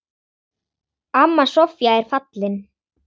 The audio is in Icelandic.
Amma Soffía er fallin.